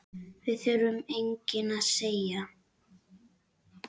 Það þurfti enginn að segja